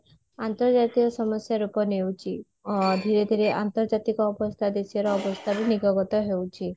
ଅନ୍ତର୍ଜାତିୟ ସମସ୍ଯା ରୂପ ନେଉଚି ଧୀରେ ଧୀରେ ଅନ୍ତର୍ଜାତିକ ଅବସ୍ଥା ଦେଶ ର ଅବସ୍ଥା ବି ହେଉଚି